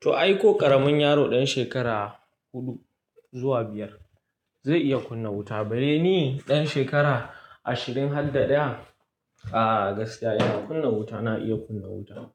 To ai ko ƙaramin yaro ɗan shekara huɗu zuwa biyar zai iya kunna wuta, bari ni ɗan shekara ashirin har da ɗaya. A gaskiya ina kunna wuta, na iya kunna wuta.